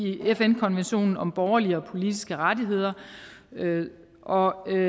fn konventionen om borgerlige og politiske rettigheder og